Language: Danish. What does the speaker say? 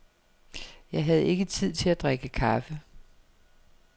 Jeg havde ikke tid til at drikke kaffe.